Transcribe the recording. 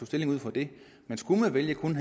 stilling ud fra det men skulle man vælge kun